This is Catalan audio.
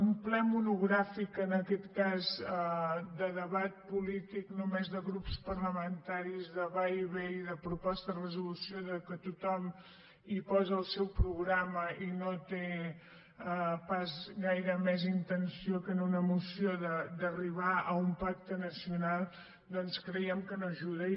un ple monogràfic en aquest cas de debat polític només de grups parlamentaris de va i ve i de propostes de resolució que tothom hi posa el seu programa i que no té pas gaire més intenció que en una moció arribar a un pacte nacional doncs creiem que no ajuda